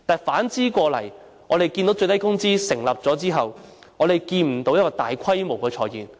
反之，最低工資訂立後，我們看不到大規模裁員。